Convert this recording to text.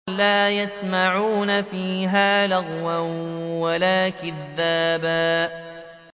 لَّا يَسْمَعُونَ فِيهَا لَغْوًا وَلَا كِذَّابًا